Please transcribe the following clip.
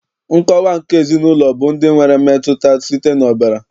Nkọwa nke ezinaụlọ bụ ndị nwere mmetụta site n'ọbara